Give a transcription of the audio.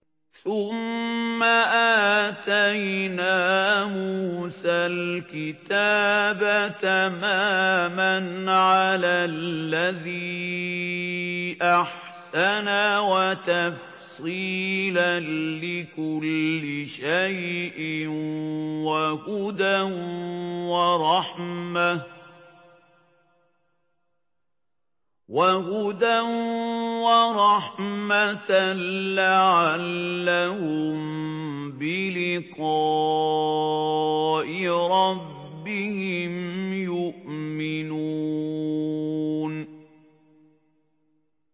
ثُمَّ آتَيْنَا مُوسَى الْكِتَابَ تَمَامًا عَلَى الَّذِي أَحْسَنَ وَتَفْصِيلًا لِّكُلِّ شَيْءٍ وَهُدًى وَرَحْمَةً لَّعَلَّهُم بِلِقَاءِ رَبِّهِمْ يُؤْمِنُونَ